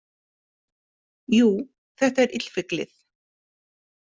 Jú, þetta er illfyglið